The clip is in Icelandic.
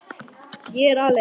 Ég er aleinn.